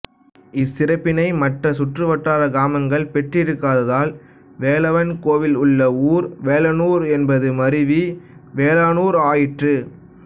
இச்சிறப்பினை மற்ற சுற்று வட்டார கிராமங்கள் பெற்றுக்கததால் வேலவன் கோவில் உள்ள ஊர் வேலானூர் என்பது மருவி வேளானூர் ஆயிற்று